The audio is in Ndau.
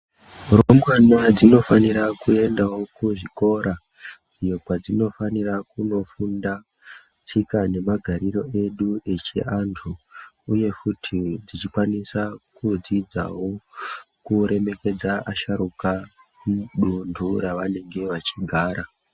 Mirumbwana dzinofanira kuendawo kuzvikora iyo kwadzinofanira kunofunda tsika nemagariro edu echiantu uye futi kuremekedza asharuka muduntu ravanenge vechigara